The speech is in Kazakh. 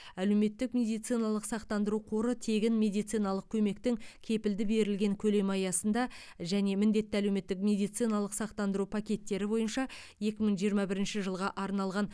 әлеуметтік медициналық сақтандыру қоры тегін медициналық көмектің кепілді берілген көлемі аясында және міндетті әлеуметтік медициналық сақтандыру пакеттері бойынша екі мың жиырма бірінші жылға арналған